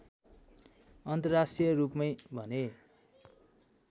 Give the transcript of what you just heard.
अन्तर्राष्ट्रिय रूपमै भने